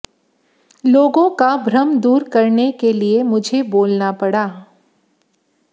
लोगों का भ्रम दूर करने के लिए मुझे बोलना पडा